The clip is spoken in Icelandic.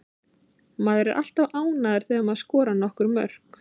Maður er alltaf ánægður þegar maður skorar nokkur mörk.